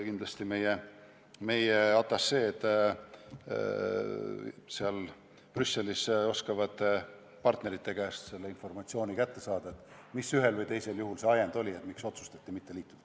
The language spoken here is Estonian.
Kindlasti oskavad meie atašeed Brüsselis partnerite käest selle informatsiooni kätte saada, mis ühel või teisel juhul see ajend oli, miks otsustati mitte liituda.